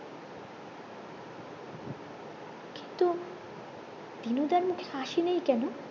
কিন্তু দিনু দার মুখে হাসি নেই কেন